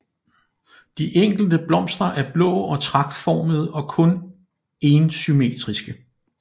De enkelte blomster er blå og tragtformede og kun énsymmetriske